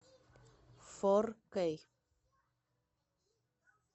фор кей